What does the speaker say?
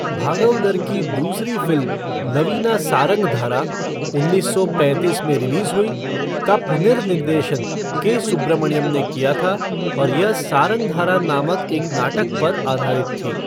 भागवदर की दूसरी फ़िल्म नवीना सारंगधारा उन्नीस सौ पैंतीस में रिलीज़ हुई, का पुनर्निर्देशन के. सुब्रमण्यम ने किया था और यह सारंगधारा नामक एक नाटक पर आधारित थी।